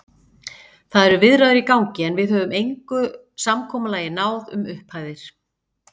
Það eru viðræður í gangi, en við höfum engu samkomulagi náð um upphæðir.